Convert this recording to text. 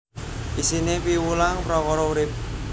Isiné piwulang prakara urip